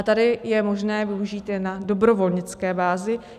A tady je možné využít je na dobrovolnické bázi.